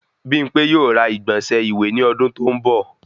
Bimpe yóò ra igbọnsẹ iwe ní ọdún to n bọ